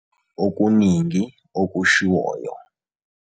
Okuningi okushiwoyo.